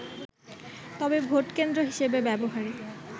তবে ভোটকেন্দ্র হিসেবে ব্যবহারে